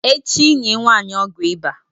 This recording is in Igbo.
echi nye nwanyi ogwu iba!